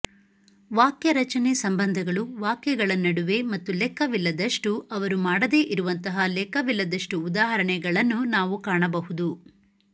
ವಾಕ್ಯರಚನೆ ಸಂಬಂಧಗಳು ವಾಕ್ಯಗಳ ನಡುವೆ ಮತ್ತು ಲೆಕ್ಕವಿಲ್ಲದಷ್ಟು ಅವರು ಮಾಡದೆ ಇರುವಂತಹ ಲೆಕ್ಕವಿಲ್ಲದಷ್ಟು ಉದಾಹರಣೆಗಳನ್ನು ನಾವು ಕಾಣಬಹುದು